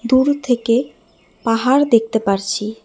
দূর থেকে পাহাড় দেখতে পারছি।